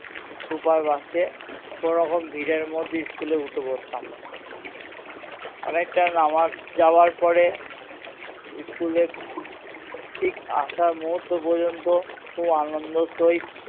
super bus এ কোনোরকম ভিড়ের মধ্যে school এ উঠে পড়তাম অনেকটা যাবার পরে school এ ঠিক আসার মুহূর্ত পর্যন্ত খুব আনন্দের সহিত